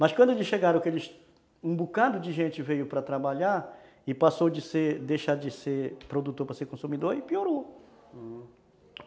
Mas quando eles chegaram, um bocado de gente veio para trabalhar e passou de deixar de ser, deixar de ser produtor para ser consumidor, aí piorou. Aham.